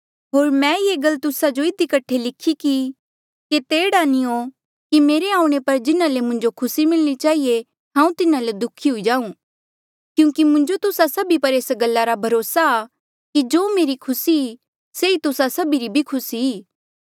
होर मैं ये ई गल तुस्सा जो इधी कठे लिखी कि केते एह्ड़ा नी हो कि मेरे आऊणें पर जिन्हा ले मुंजो खुसी मिलणी चहिए हांऊँ तिन्हा ले दुखी हुई जाऊं क्यूंकि मुंजो तुस्सा सभी पर ऐस गल्ला रा भरोसा आ कि जो मेरी खुसी ई से ई तुस्सा सभी री भी खुसी ई